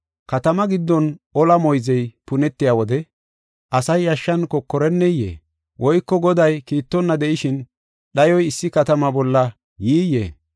Katama giddon ola moyzey punetiya wode asay yashshan kokoreneyee? Woyko Goday kiittonna de7ishin dhayoy issi katama bolla yiiyee?